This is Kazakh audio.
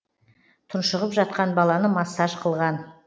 тұншығып жатқан баланы массаж қылған